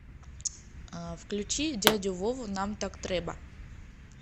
включи дядю вову нам так треба